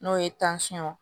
N'o ye